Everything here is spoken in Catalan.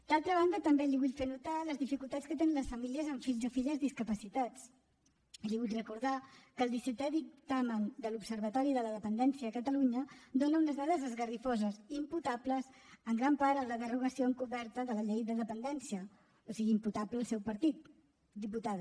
d’altra banda també li vull fer notar les dificultats que tenen les famílies amb fills o filles discapacitats i li vull recordar que el dissetè dictamen de l’observatori de la dependència a catalunya dona unes dades esgarrifoses imputables en gran part a la derogació encoberta de la llei de dependència o sigui imputable al seu partit diputada